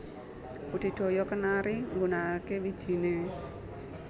Budidaya kenari nggunakaké wijiné